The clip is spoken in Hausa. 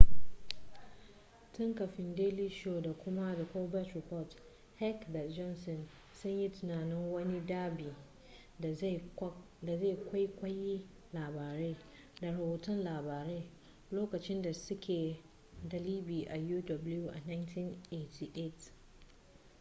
tun kafin daily show da kuma the colbert report heck da johnson sun yi tunanin wani ɗab'i da zai kwaikwayi labarai da rahoton labarai lokacin da suke dalibi a uw a 1988